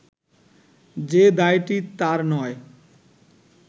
যে দায়টি তার নয়